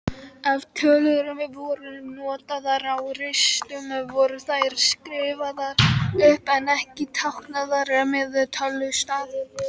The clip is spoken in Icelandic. Ef tölur voru notaðar á ristum voru þær skrifaðar upp en ekki táknaðar með tölustaf.